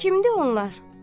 Kimdir onlar?